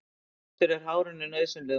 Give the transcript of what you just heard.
Þvottur er hárinu nauðsynlegur.